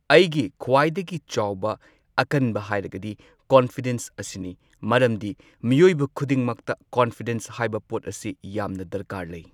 ꯑꯩꯒꯤ ꯈ꯭ꯋꯥꯏꯗꯒꯤ ꯆꯥꯎꯕ ꯑꯀꯟꯕ ꯍꯥꯏꯔꯒꯗꯤ ꯀꯣꯟꯐꯤꯗꯦꯟꯁ ꯑꯁꯤꯅꯤ ꯃꯔꯝꯗꯤ ꯃꯤꯑꯣꯏꯕ ꯈꯨꯗꯤꯡꯃꯛꯇ ꯀꯣꯟꯐꯤꯗꯦꯟꯁ ꯍꯥꯏꯕ ꯄꯣꯠ ꯑꯁꯤ ꯌꯥꯝꯅ ꯗꯔꯀꯥꯔ ꯂꯩ꯫